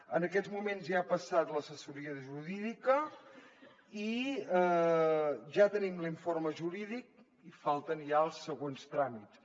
en aquests moments ja ha passat l’assessoria jurídica i ja tenim l’informe jurídic i falten ja els següents tràmits